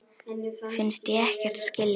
Finnst ég ekkert skilja.